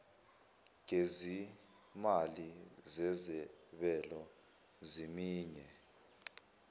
gezimali zezabelo zeminye